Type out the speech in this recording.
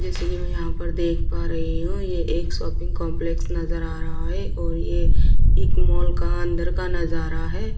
जैसे की मैं यहाँ पर देख पा रही हो ये एक शॉपिंग कॉम्प्लेक्स नज़र आ रहा है और ये एक मॉल का अंदर का नज़ारा है।